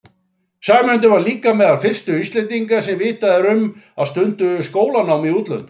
Sæmundur var líka meðal fyrstu Íslendinga sem vitað er um að stunduðu skólanám í útlöndum.